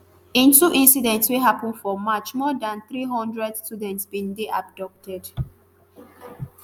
in two incidents wey happen for march more dan three hundred students bin dey abducted